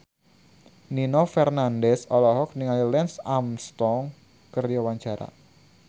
Nino Fernandez olohok ningali Lance Armstrong keur diwawancara